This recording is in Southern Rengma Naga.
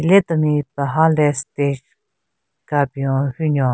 Hile temi paha le stage ka bin-o hyu nyon.